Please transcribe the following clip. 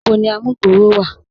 Níbò ni àmùgbọ̀rọ̀ wa?